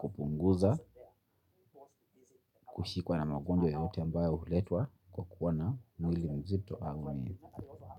kupunguza, kushikwa na magonjwa yoyote ambaye huletwa kwa kuwa na mwili mzito au mwili.